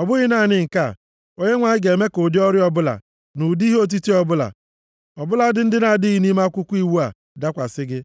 Ọ bụghị naanị nke a! Onyenwe anyị ga-eme ka ụdị ọrịa ọbụla, na ụdị ihe otiti ọbụla, ọ bụladị ndị na-adịghị nʼime Akwụkwọ Iwu a, bịakwasị gị,